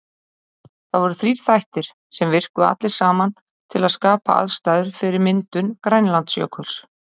Það voru þrír þættir, sem virkuðu allir saman til að skapa aðstæður fyrir myndun Grænlandsjökuls.